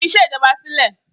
Fi iṣẹ́ ìjọba sílẹ̀.